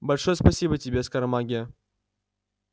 большое спасибо тебе скоромагия